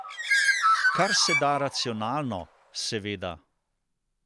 Karseda racionalno, seveda.